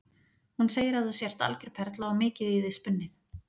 Hún segir að þú sért algjör perla og mikið í þig spunnið.